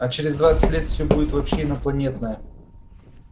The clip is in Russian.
а через двадцать лет все будет вообще инопланетное